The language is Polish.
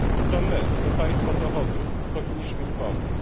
To my, to państwa Zachodu powinniśmy im pomóc.